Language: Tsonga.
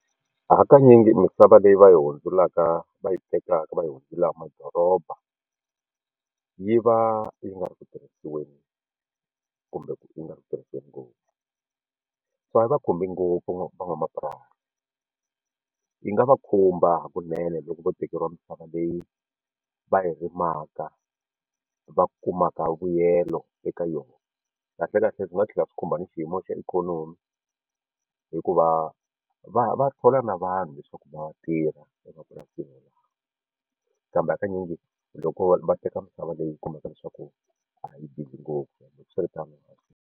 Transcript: Hakanyingi misava leyi va yi hundzulaka va yi tekaka va yi hundzula madoroba yi va yi nga ri ku tirhisiweni kumbe ku yi nga ri ku tirhisiwa ngopfu swi nga va khumbi ngopfu van'wamapurasi yi nga va khumba hakunene loko vo tekeriwa misava leyi va yi rimaka va kumaka vuyelo eka yona kahlekahle swi nga tlhela swi khumba ni xiyimo xa ikhonomi hikuva va va thola na vanhu leswaku va tirha emapurasini lawa kambe hakanyingi loko va teka misava leyi yi kumaka leswaku a yi busy ngopfu loko swi ri tano.